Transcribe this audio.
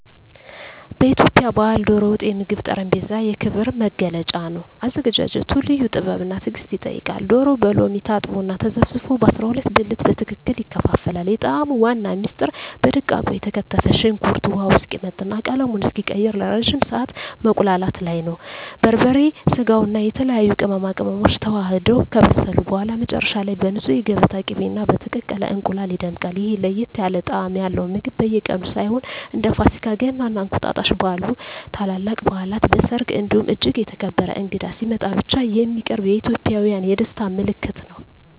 በኢትዮጵያ ባሕል "ዶሮ ወጥ" የምግብ ጠረጴዛ የክብር መገለጫ ነው። አዘገጃጀቱ ልዩ ጥበብና ትዕግስት ይጠይቃል፤ ዶሮው በሎሚ ታጥቦና ተዘፍዝፎ በ12 ብልት በትክክል ይከፋፈላል። የጣዕሙ ዋና ምስጢር በደቃቁ የተከተፈ ሽንኩርት ውሃው እስኪመጥና ቀለሙን እስኪቀይር ለረጅም ሰዓት መቁላላቱ ላይ ነው። በርበሬ፣ ስጋውና የተለያዩ ቅመማ ቅመሞች ተዋህደው ከበሰሉ በኋላ፣ መጨረሻ ላይ በንፁህ የገበታ ቅቤና በተቀቀለ እንቁላል ይደምቃል። ይህ ለየት ያለ ጣዕም ያለው ምግብ በየቀኑ ሳይሆን፣ እንደ ፋሲካ፣ ገና እና እንቁጣጣሽ ባሉ ታላላቅ በዓላት፣ በሰርግ እንዲሁም እጅግ የተከበረ እንግዳ ሲመጣ ብቻ የሚቀርብ የኢትዮጵያውያን የደስታ ምልክት ነው።